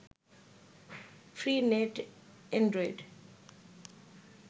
free net Android